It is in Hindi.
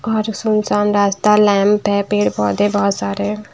और सुनसान रास्ता लैंप है पेड़ पौधे है बोहोत सारे--